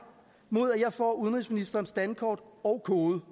mod at jeg får udenrigsministerens dankort og kode